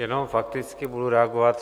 Jenom fakticky budu reagovat.